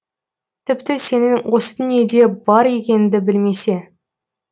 тіпті сенің осы дүниеде бар екеніңді білмесе